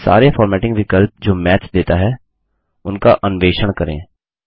सारे फ़ॉर्मेटिंग विकल्प जो मैथ देता है उनका अन्वेषण करें